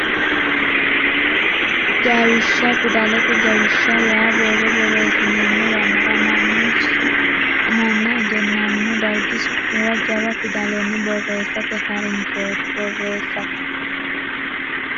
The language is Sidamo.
Jawishsha Fidalete jawishsha yaa borro borreessineemmo yannara mannu su manna egennamino dargi su muwa jawa fidalenni borreessate ha rinshooti Borreessate.